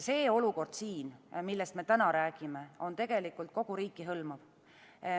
See olukord, millest me täna räägime, on kogu riiki hõlmav.